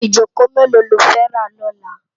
Ijókó méló ló fè rá lòlá?